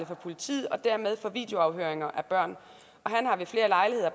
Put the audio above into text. for politiet og dermed for videoafhøringer af børn